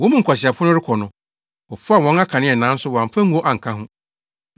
Wɔn mu nkwaseafo no rekɔ no, wɔfaa wɔn akanea nanso wɔamfa ngo anka ho.